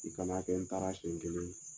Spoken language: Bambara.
I kana kɛ n taara senɲɛ kelen